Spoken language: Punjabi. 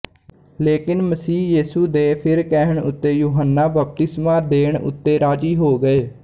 ਲੇਕਿਨ ਮਸੀਹ ਯੇਸੂ ਦੇ ਫਿਰ ਕਹਿਣ ਉੱਤੇ ਯੁਹੰਨਾ ਬਪਤਿਸਮਾ ਦੇਣ ਉੱਤੇ ਰਾਜ਼ੀ ਹੋ ਗਏ